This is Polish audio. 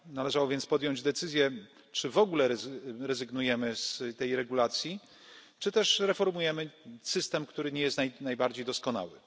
Należało więc podjąć decyzję, czy w ogóle rezygnujemy z tej regulacji, czy też reformujemy system, który nie jest najbardziej doskonały.